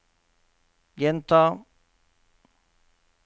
gjenta